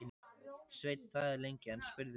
Sveinn þagði lengi, en spurði svo: